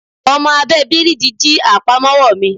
Ọmọ abẹ́ẹ bíríìjì jí àpamọ́wọ́ mi